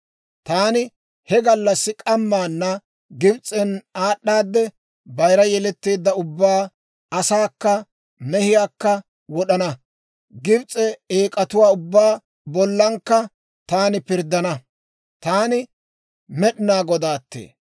«Taani he gallassi k'amaana Gibs'en aad'aadde bayira yeletteedda ubbaa, asaakka, mehiyaakka wod'ana; Gibs'e eek'atuwaa ubbaa bollakka taani pirddana; Taani Med'inaa Godaattee.